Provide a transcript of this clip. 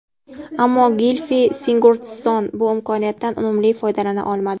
Ammo Gilfi Sigurdsson bu imkoniyatdan unumli foydalana olmadi.